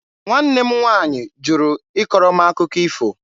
Nwanne m nwaanyị jụrụ ịkọrọ m akụkọ ifo.